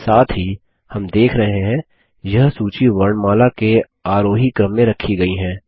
साथ ही हम देख रहे हैं यह सूची वर्णमाला के आरोही क्रम में रखी गयी हैं